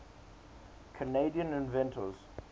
canadian inventors